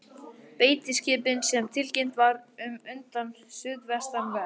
Beitiskipin, sem tilkynnt var um undan suðvestanverðu